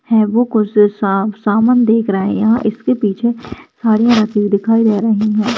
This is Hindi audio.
है वो कोई साब सामान देख रहे हैं इसके पीछे साड़ियाँ राखी हुई दिखाई दे रही है।